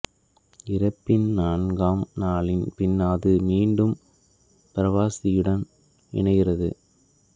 இறப்பின் நான்காம் நாளின் பின் அது மீண்டும் பிராவசியுடன் இணைகின்றது